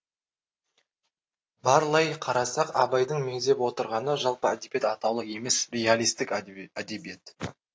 барлай қарасақ абайдың меңзеп отырғаны жалпы әдебиет атаулы емес реалистік әдебиет